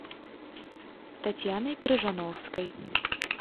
татьяной крыжановской